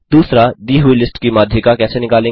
2दी हुई लिस्ट की माध्यिका कैसे निकालेंगे